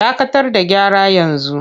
Dakatar da gyara yanzu!